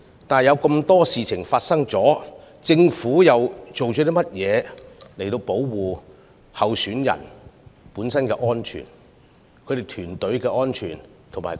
不過，在眾多事情發生後，政府採取了甚麼措施保障參選人、其團隊和辦事處的安全呢？